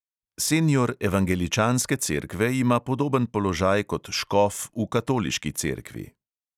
Senior evangeličanske cerkve ima podoben položaj kot škof v katoliški cerkvi.